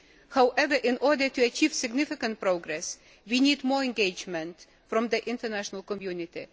However, in order to achieve significant progress, we need more engagement from the international community.